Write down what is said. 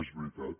és veritat